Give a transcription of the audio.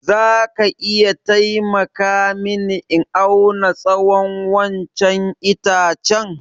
Za ka iya taimaka mini in auna tsawon wannan itacen?